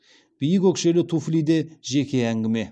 биік өкшелі туфли де жеке әңгіме